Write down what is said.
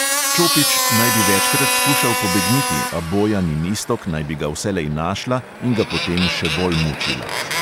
Čopič naj bi večkrat skušal pobegniti, a bojan in iztok naj bi ga vselej našla in ga potem še bolj mučila.